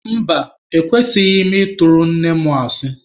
Mba, ekwesighị m ị tụrụ nne mụ asị.